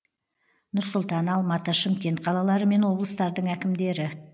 нұр сұлтан алматы шымкент қалалары мен облыстардың әкімдері